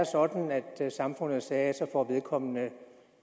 sådan at samfundet sagde at så får vedkommende